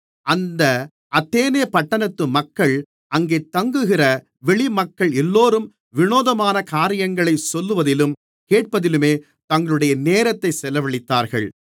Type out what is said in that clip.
அந்த அத்தேனே பட்டணத்து மக்கள் அங்கே தங்குகிற வெளிமக்கள் எல்லோரும் வினோதமான காரியங்களைச் சொல்லுவதிலும் கேட்பதிலுமே தங்களுடைய நேரத்தைச் செலவழித்தார்கள்